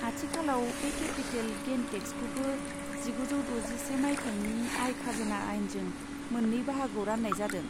आथिखालाव, बे capital gain टेक्सखौबो जिगुजौ द'जिसे मायथाइनि आय खाजोना आइनजों मोननै बाहागोआव रान्नाय जादों।